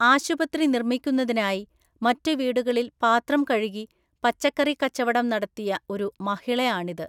ആശുപത്രി നിര്‍മ്മിക്കുന്നതിനായി മറ്റു വീടുകളില്‍ പാത്രം കഴുകി, പച്ചക്കറി കച്ചവടം നടത്തിയ ഒരു മഹളിയാണിത്.